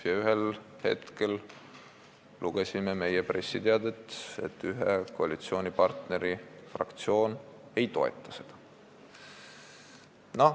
Ja ühel hetkel lugesime meie pressiteatest, et ühe koalitsioonipartneri fraktsioon ei toeta seda.